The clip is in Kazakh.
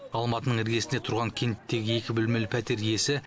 алматының іргесінде тұрған кенттегі екі бөлмелі пәтер иесі